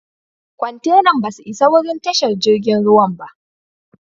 Kwantenan ba su isa wurin tashar jirigin ruwan ba.